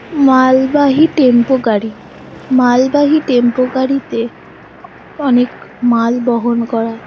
মালবাহী টেম্পো গাড়ি মালবাহী টেম্পো গাড়িতে অ-অনেক মাল বহন করা হয়।